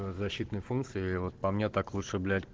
защитные функции вот по мне так лучше блять